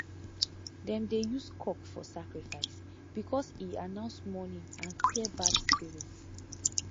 dem dey use cock for sacrifice because e announce morning and clear bad spirit